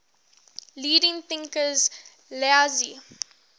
leading thinkers laozi